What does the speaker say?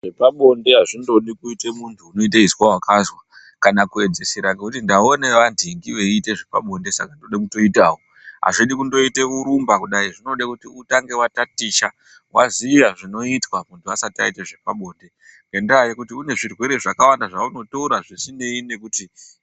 Zvepabonde hazvindodi kuita muntu unoita izwa wakazwa kana kuedzesera ngekuti ndaone antingi veiite zvepabonde saka ndoda kutoitawo hazvidi kundoite kurumba kudayi zvinoda kuti utange watatisha waziya zvinoizwa muntu asati aita zvepabonde. Ngendaya yekuti kune zvirwere zvakawanda zvaunotora zvisineyi nekuti.